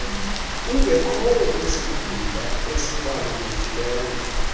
ungekhoyo kwisikhundla esibalulekileyo